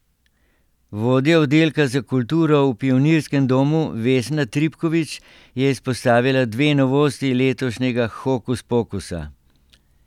Vodja oddelka za kulturo v Pionirskem domu Vesna Tripkovič je izpostavila dve novosti letošnjega Hokus pokusa.